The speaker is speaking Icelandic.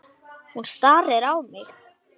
Hún starir á mig.